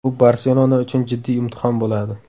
Bu ‘Barselona’ uchun jiddiy imtihon bo‘ladi”.